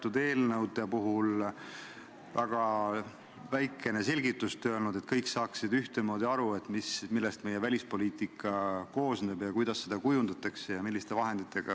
Tulles eelnõu põhieesmärgi juurde, märgin, et osaledes solidaarselt teiste Euroopa Liidu riikidega sellel missioonil, aitame kaasa Euroopasse suunduva illegaalse immigratsiooni tõkestamisele.